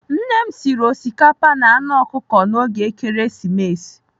Nne m sịrị osikapa na anụ anụ ọkụkọ n'oge Ekeresimesi.